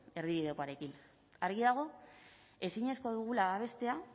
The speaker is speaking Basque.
erdibidekoarekin argi dago ezinezkoa dugula bestea